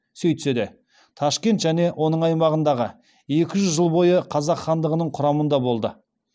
сөйтсе де ташкент және оның аймағы екі жүз жыл бойы қазақ хандығының құрамында болды